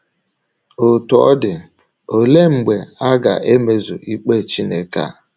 Otú ọ dị, olee mgbe a ga - emezu ikpe Chineke a?